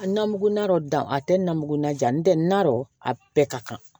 Nangurunan dɔ dan a tɛ na mugan jan n tɛ na dɔn a bɛɛ ka kan